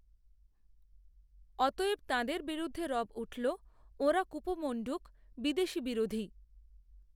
অতএব তাঁদের বিরুদ্ধে রব উঠল ওঁরা কুপমণ্ডূক বিদেশি বিরোধী